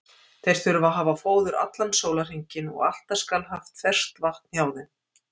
Þeir þurfa að hafa fóður allan sólarhringinn og alltaf skal haft ferskt vatn hjá þeim.